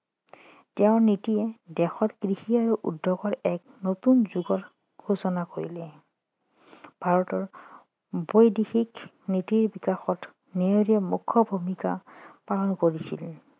তেওঁৰ নীতিয়ে দেশত কৃষি আৰু উদ্যোগৰ এক নতুন যুগৰ সূচনা কৰিলে ভাৰতৰ বৈদেশিৰ নীতিৰ বিকাশত নেহেৰুৱে মূখ্য ভূমিকা পালন কৰিছিল